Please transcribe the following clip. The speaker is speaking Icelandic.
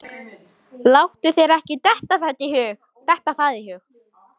Láttu þér ekki detta það í hug.